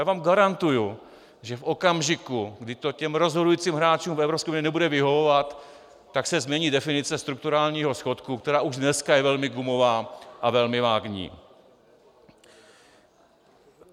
Já vám garantuji, že v okamžiku, kdy to těm rozhodujícím hráčům v Evropské unii nebude vyhovovat, tak se změní definice strukturálního schodku, která už dneska je velmi gumová a velmi vágní.